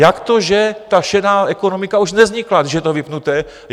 Jak to, že ta šedá ekonomika už nevznikla, když je to vypnuté?